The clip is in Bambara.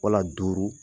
Wala duuru